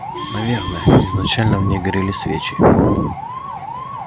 наверное изначально в ней горели свечи